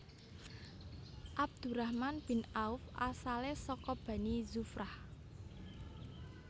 Abdurrahman bin Auf asale saka Bani Zuhrah